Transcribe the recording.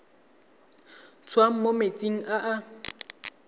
tswang mo metsing a e